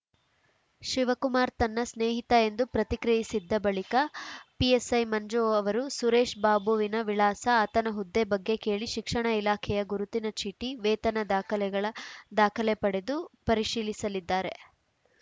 ಶಿವಕುಮಾರ್‌ ತನ್ನ ಸ್ನೇಹಿತ ಎಂದು ಪ್ರತಿಕ್ರಿಯಿಸಿದ್ದ ಬಳಿಕ ಪಿಎಸ್‌ಐ ಮಂಜು ಅವರು ಸುರೇಶ್‌ ಬಾಬುವಿನ ವಿಳಾಸ ಆತನ ಹುದ್ದೆ ಬಗ್ಗೆ ಕೇಳಿ ಶಿಕ್ಷಣ ಇಲಾಖೆಯ ಗುರುತಿನ ಚೀಟಿ ವೇತನ ದಾಖಲೆಗಳ ದಾಖಲೆ ಪಡೆದು ಪರಿಶೀಲಿಸಲಿದ್ದಾರೆ